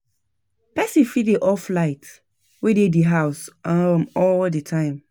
Person fit dey off light wey dey di house um all di time